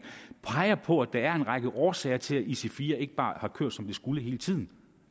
peger på at der er en række årsager til at ic4 ikke bare har kørt som de skulle hele tiden